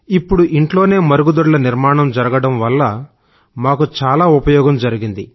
ఇప్పుడు ఇంట్లోనే మరుగుదొడ్ల నిర్మాణం జరిగడం వల్ల మాకు చాలా ఉపయోగం జరిగింది